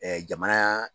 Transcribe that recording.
jamana